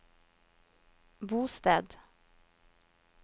bosted